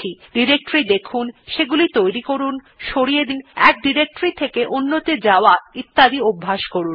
directory দেখুন সেগুলি তৈরী করুন সরিয়ে দিন এক ডিরেক্টরী থেকে অন্য ত়ে যাওয়া ইত্যাদি অভ্যেস করুন